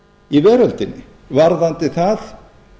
í veröldinni varðandi það